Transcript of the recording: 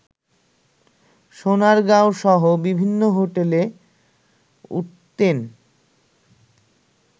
সোনারগাঁওসহ বিভিন্ন হোটেলে উঠতেন